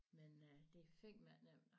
Men øh det fandme ikke nemt